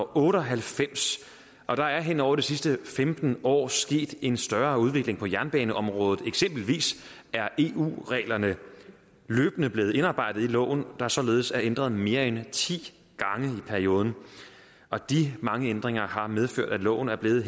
otte og halvfems og der er hen over de sidste femten år sket en større udvikling på jernbaneområdet eksempelvis er eu reglerne løbende blevet indarbejdet i loven der således er ændret mere end ti gange i perioden og de mange ændringer har medført at loven er blevet